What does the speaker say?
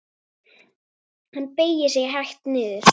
Hann beygir sig hægt niður.